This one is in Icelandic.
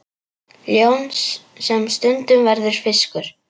Ljón sem stundum verður fiskur.